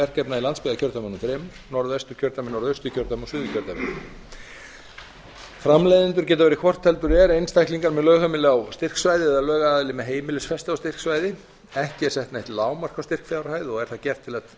verkefna í landsbyggðakjördæmunum þremur norðvesturkjördæmi norðausturkjördæmi og suðurkjördæmi framleiðendur geta verið hvort heldur er einstaklingar með lögheimili á styrksvæði eða lögaðili með heimilisfestu á styrksvæði ekki er sett neitt lágmark á styrkfjárhæð og er það gert til að tryggja